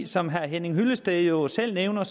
som herre henning hyllested jo selv nævner